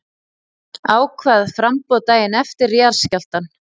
Ákvað framboð daginn eftir jarðskjálftann